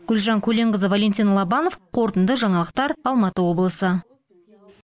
гүлжан көленқызы валентин лобанов қорытынды жаңалықтар алматы облысы